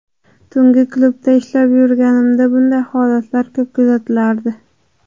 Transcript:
Tungi klubda ishlab yurganimda bunday holatlar ko‘p kuzatilardi.